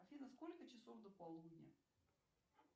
афина сколько часов до полудня